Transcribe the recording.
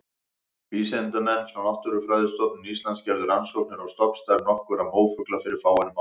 Vísindamenn frá Náttúrufræðistofnun Íslands gerðu rannsóknir á stofnstærð nokkurra mófugla fyrir fáeinum árum.